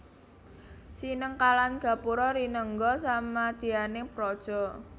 Sinengkalan Gapura rinengga samadyaning praja